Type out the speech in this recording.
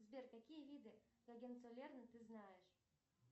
сбер какие виды ты знаешь